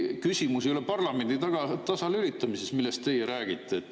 Küsimus ei ole ikkagi parlamendi tasalülitamises, millest teie räägite.